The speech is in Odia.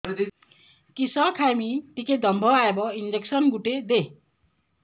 କିସ ଖାଇମି ଟିକେ ଦମ୍ଭ ଆଇବ ଇଞ୍ଜେକସନ ଗୁଟେ ଦେ